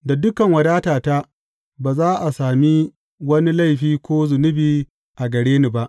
Da dukan wadatata ba za a sami wani laifi ko zunubi a gare ni ba.